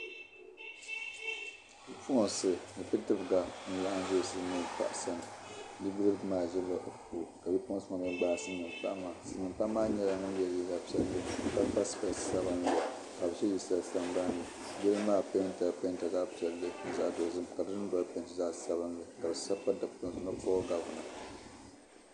Bipuɣunsi ni bidibga n laɣam ʒɛ silmiin paɣa sani bidib gi maa ʒila o ko ka bipuɣunsi maa mii gbaai silmiin paɣa maa silmiin paɣa maa yɛla liiga piɛlli ka kpa spees sabinli ka bi ʒɛ yili shɛli sabamni yili maa peentila peenta zaɣ piɛlli ni zaɣ dozim ka di dundoli peenti zaɣ sabinli ka di sabi pa Dikpuni zuɣu ni puuo gavina